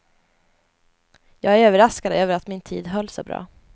Jag är överraskad över att min tid höll så bra.